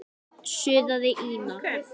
suðaði Ína.